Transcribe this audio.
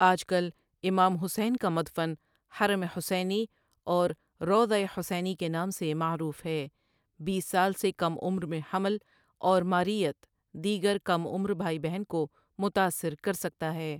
آج کل امام حسین کا مدفن حرم حسینی اور روضۂ حسینی کے نام سے معروف ہے بیس سال سے کم عمر میں حمل اور ماریت دیگر کم عمر بھائی بہن کو متاثر کر سکتا ہے ۔